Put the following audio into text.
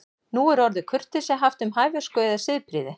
Nú er orðið kurteisi haft um hæversku eða siðprýði.